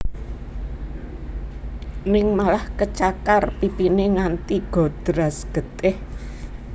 Ning malah kecakar pipine nganti godras getih